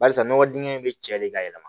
Barisa nɔgɔ dingɛ in bɛ cɛ de ka yɛlɛma